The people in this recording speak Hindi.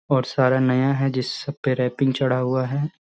और सारे नया है जिस सब पर रैपिंग चढ़ा हुआ है।